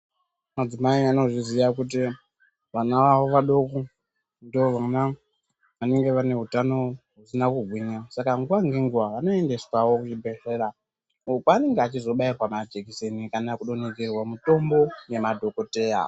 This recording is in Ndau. Madzimai vanozviziva kuti vana vavo vadoko ndovona vanenge vane utano husina kugwinya saka nguwa ngenguwa vanoendeswawo kuzvibhedhleya uko kwaanenga achizobairwa majekiseni kana kudonhedzerwa mutombo nemadhokoteya.